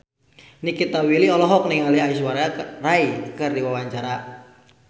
Nikita Willy olohok ningali Aishwarya Rai keur diwawancara